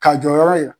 Ka jɔyɔrɔ ye